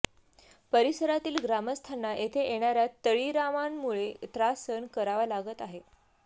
परिसरातील ग्रामस्थांना येथे येणाऱ्या तळीरामांमुळे त्रास सहन करावा लागत आहे